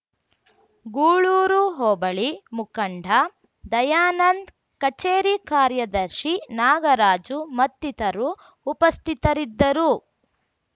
ಗೂಳೂರು ಹೋಬಳಿ ಮುಖಂಡ ದಯಾನಂದ್ ಕಚೇರಿ ಕಾರ್ಯದರ್ಶಿ ನಾಗರಾಜು ಮತ್ತಿತರು ಉಪಸ್ಥಿತರಿದ್ದರು